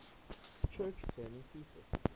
church turing thesis